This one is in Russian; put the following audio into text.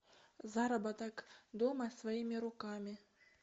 заработок дома своими руками